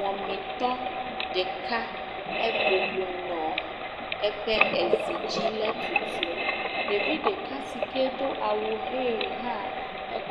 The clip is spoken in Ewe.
Wamitɔ ɖeka ebɔbɔ nɔ eƒe ezi dzi henɔ etutum, ɖevi ɖeka si ke do awu ʋe hã